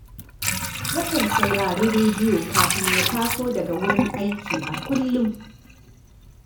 Yakan saurari rediyo kafin ya taso daga wurin aiki a kullum